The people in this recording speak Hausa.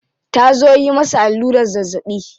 Ta zo yi masa allurar zazzabi.